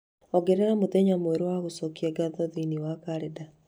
ongerera mũthenya mwerũ wa gũcokia ngatho thĩinĩ wa kalendari